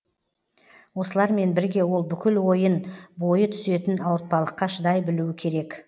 осылармен бірге ол бүкіл ойын бойы түсетін ауыртпалыққа шыдай білуі керек